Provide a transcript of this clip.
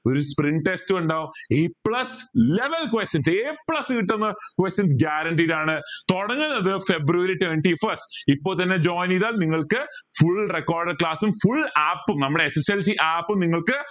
ഒരു spring test ഇണ്ടാവും a plus eleven questions a plus കിട്ടുന്ന questions guaranteed ആൺ തുടങ്ങുന്നത് ഫെബ്രുവരി twenty first ഇപ്പൊ തന്നെ join ചെയ്താൽ നിങ്ങൾക്ക് full recorded class ഉം full app ഉം നമ്മടെ SSLC app ഉം നിങ്ങൾക്ക്